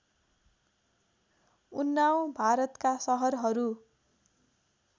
उन्नाव भारतका सहरहरू